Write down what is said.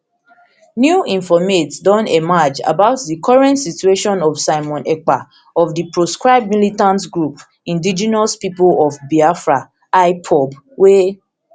new informate don emerge about di current situation of simon ekpa of di proscribed militant group indegenous pipo of biafra ipob wey